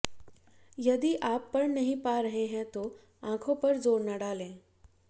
यदि आप पढ़ नहीं पा रहे हैं तो आँखों पर जोर न डालें